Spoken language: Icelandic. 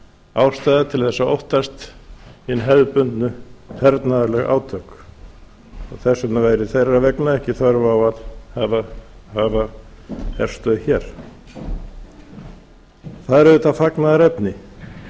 ástæða til þess að óttast hin hefðbundin hernaðarlegu átök og þess vegna væri þeirra vegna ekki þörf á að hafa herstöð hér það er auðvitað fagnaðarefni